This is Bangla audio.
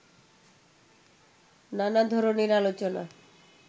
নানা ধরনের আলোচনা